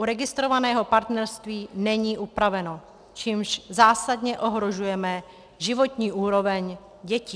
U registrovaného partnerství není upravené, čímž zásadně ohrožujeme životní úroveň dětí.